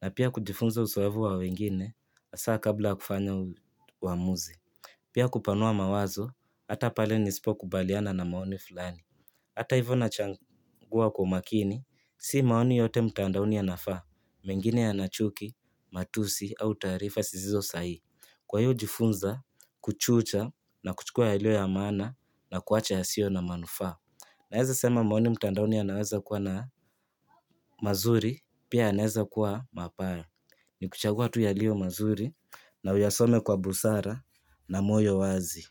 na pia kujifunza uzoefu wa wengine, hasa kabla ya kufanya uamuzi. Pia kupanua mawazo, hata pale nisipo kubaliana na maoni fulani. Hata hivyo nachagua kwa makini, si maoni yote mtandaoni yanafaa, mengine yana chuki, matusi, au taarifa zisizo sahihi. Kwaiyo hujifunza kuchuja na kuchukua yaliyo ya maana na kuacha yasiyo na manufaa. Naweza sema maoni mtandaoni yanaweza kuwa na mazuri, pia yanaweza kuwa mabaya. Nikuchagua tu yaliyo mazuri, na uyasome kwa busara, na moyo wazi.